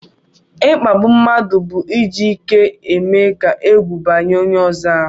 ikpágbù mmadụ bụ iji ike mee ka ègwù banye onye ọzọ ahụ